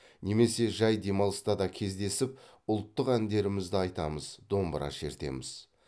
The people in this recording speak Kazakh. немесе жай демалыста да кездесіп ұлттық әндерімізді айтамыз домбыра шертеміз